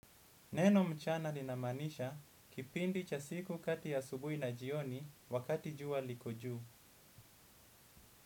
Neno mchana inamanisha kipindi cha siku kati ya asubui na jioni wakati juwa liko juu.